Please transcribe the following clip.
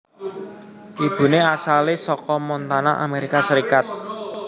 Ibune asale saka Montana Amerika Serikat